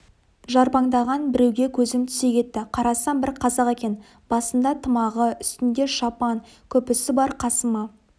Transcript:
жарбаңдаған біреуге көзім түсе кетті қарасам бір қазақ екен басында тымағы үстінде шапан күпісі бар қасыма